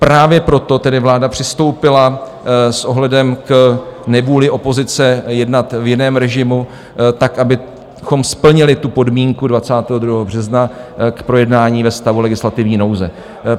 Právě proto tedy vláda přistoupila s ohledem k nevůli opozice jednat v jiném režimu, tak abychom splnili tu podmínku 22. března, k projednání ve stavu legislativní nouze.